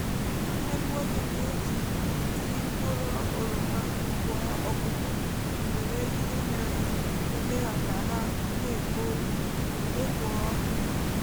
nwanne m nwoke na-eji tii mkpụrụ oroma gwọọ ọkụkọ nwere ihe na-eme ha ka ha na-ekpo ọkụ.